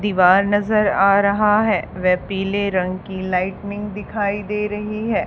दीवार नज़र आ रहा है व पीले रंग की लाइटनिंग दिखाई दे रही है।